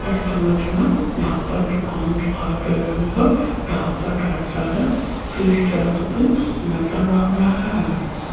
इस इमेज में यहां पर दुकान दिखाई दे रही है जहां पर ढेर सारे फिश टैंक भी नजर आ रहे हैं।